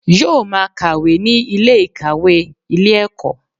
Yóò máa kàwé ní Ilé ìkàwé Ilé ẹ̀kọ́